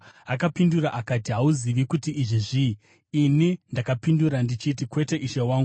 Akapindura akati, “Hauzivi kuti izvi zvii?” Ini ndakapindura ndichiti, “Kwete, ishe wangu.”